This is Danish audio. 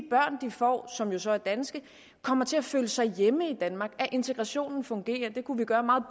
får som jo så er danske kommer til at føle sig hjemme i danmark at integrationen fungerer det kunne vi gøre meget